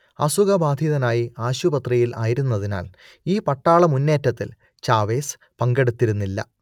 അസുഖബാധിതനായി ആശുപത്രിയിൽ ആയിരുന്നതിനാൽ ഈ പട്ടാളമുന്നേറ്റത്തിൽ ചാവേസ് പങ്കെടുത്തിരുന്നില്ല